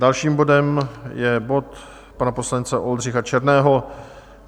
Dalším bodem je bod pana poslance Oldřicha Černého.